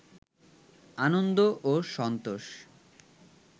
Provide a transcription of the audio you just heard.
আনন্দ ও সন্তোষ